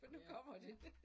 Ja, ja